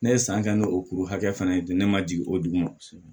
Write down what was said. Ne ye san kɛ n'o kuru hakɛ fana ye ne ma jigin o dugu ma